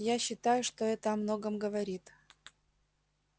я считаю что это о многом говорит